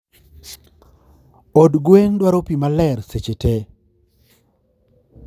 od gwen dwaro pii maler seche tee.